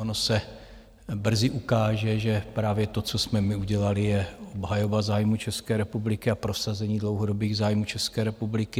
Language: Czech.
Ono se brzy ukáže, že právě to, co jsme my udělali, je obhajoba zájmů České republiky a prosazení dlouhodobých zájmů České republiky.